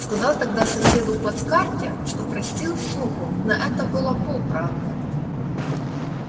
сказал тогда соседу в плацкарте что простил суку но это было полправды